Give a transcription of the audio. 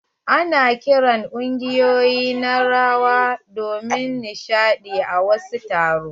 Ana kiran kungiƴoyi na rawa domin nishaɗi a wasu taro.